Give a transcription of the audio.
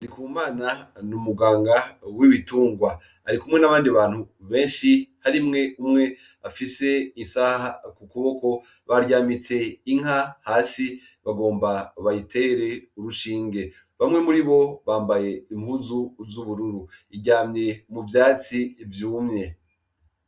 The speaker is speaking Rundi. NDIKUMANA n'umuganga w'ibitungwa , arikumwe n'abandi bantu benshi harimwo umwe afise isaha kukuboko, baryamitse inka hasi, bagomba bayitere urushinge, bamwe muribo bambaye impuzu z'ubururu ,iryamye muvyatsi vyumye.